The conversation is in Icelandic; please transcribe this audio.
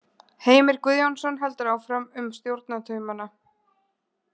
Heimir Guðjónsson heldur áfram um stjórnartaumana.